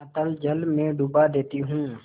अतल जल में डुबा देती हूँ